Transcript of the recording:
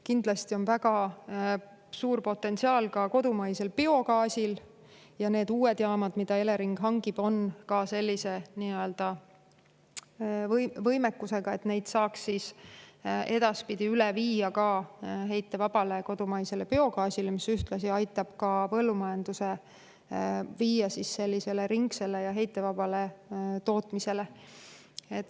Kindlasti on väga suur potentsiaal kodumaisel biogaasil ja need uued jaamad, mida Elering hangib, on sellise võimekusega, et neid saaks ka edaspidi üle viia heitevabale kodumaisele biogaasile, mis aitab ühtlasi viia põllumajanduse üle sellisele ringsele ja heitevabale tootmisele.